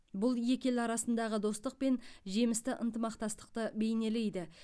бұл екі ел арасындағы достық пен жемісті ынтымақтастықты бейнелейді